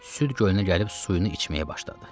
Süd gölünə gəlib suyunu içməyə başladı.